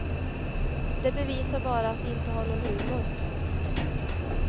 Det bevisar bara att de inte har någon humor.